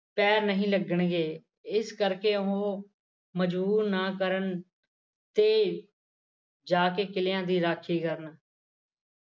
ਪੈਰ ਨਹੀਂ ਲੱਗਣਗੇ ਇਸ ਕਰਕੇ ਉਹ ਮਜਬੂਰ ਨਾ ਕਰਨ ਤੇ ਜਾਕੇ ਕਿੱਲਿਆਂ ਦੀ ਰਾਖੀ ਕਰਨ